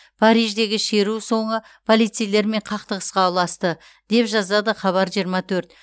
париждегі шеру соңы полицейлермен қақтығысқа ұласты деп жазады хабар жиырма төрт